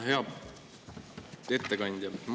Hea ettekandja!